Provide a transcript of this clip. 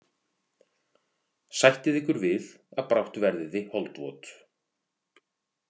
Sættið ykkur við að brátt verðið þið holdvot.